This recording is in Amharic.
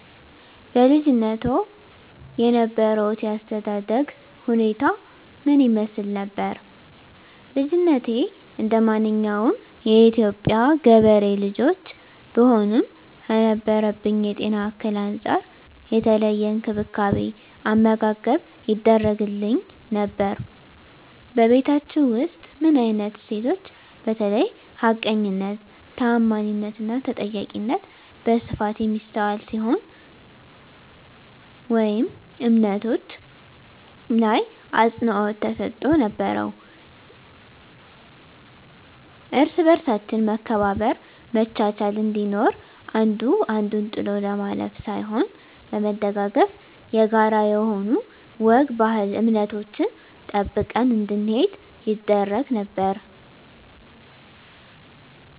በልጅነትዎ የነበሮት የአስተዳደግ ሁኔታ ምን ይመስል ነበር? ልጅነቴ እንደማንኛውም የኢትዮጵያ ገበሬ ልጆች ብሆንም ከነበረብኝ የጤና እክል አንፃር የተለየ እንክብካቤ አመጋገብ ይደረግግልኝ ነበር በቤታቹ ውስጥ ምን አይነት እሴቶች በተለይ ሀቀኝነት ታአማኒትና ተጠያቂነት በስፋት የሚስተዋል ሲሆን ወይም እምነቶች ላይ አፅንዖት ተሰጥቶ ነበረው እርስ በርሳችን መከባበር መቻቻል እንዲኖር አንዱ አንዱን ጥሎ ለማለፍ ሳይሆን በመደጋገፍ የጋራ የሆኑ ወግ ባህል እምነቶችን ጠብቀን እንድንሄድ ይደረግ ነበር